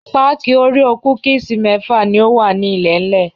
Páákì òréò kúkísì mẹ́fà ni ó wà ní ilẹ̀ńlẹ̀.